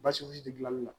Basi foyi ti gilanli la